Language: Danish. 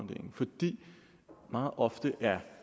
meget ofte er